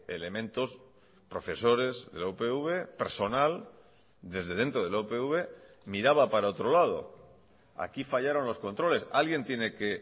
elementos profesores de la upv personal desde dentro de la upv miraba para otro lado aquí fallaron los controles alguien tiene que